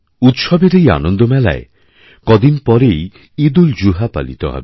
উৎসবের এইআনন্দমেলায় কদিন পরেই ঈদউলজুহা পালিত হবে